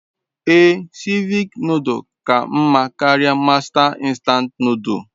Ee, Cevich nodul ka nma karia Masta nstant nodul